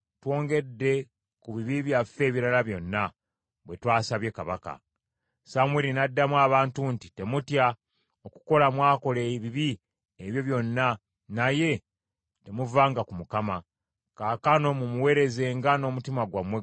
Samwiri n’addamu abantu nti, “Temutya, okukola mwakola ebibi ebyo byonna, naye temuvanga ku Mukama , kaakano mumuweerezenga n’omutima gwammwe gwonna.